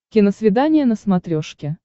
киносвидание на смотрешке